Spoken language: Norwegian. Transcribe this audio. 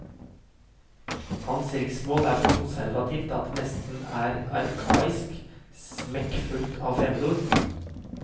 Hans riksmål er så konservativt at det nesten er arkaisk, smekkfullt av fremmedord.